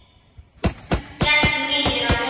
Hann hékk mikið á netinu.